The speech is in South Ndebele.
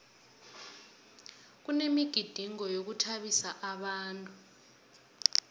kunemigidingo yokuthabisa abantu